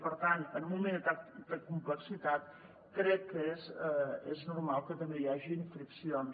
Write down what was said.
i per tant en un moment de tanta complexitat crec que és normal que també hi hagin friccions